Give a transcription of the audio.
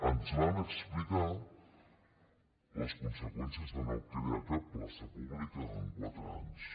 ens van explicar les conseqüències de no crear cap plaça pública en quatre anys